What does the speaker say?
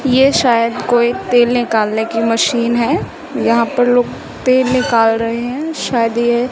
ये शायद कोई तेल निकालने की मशीन है यहां पर लोग तेल निकल रहे हैं शायद ये--